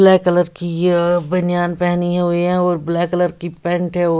black colour की या बनियान पहनी हुई हैं और ब्लैक कलर की पैंट हैं ओ--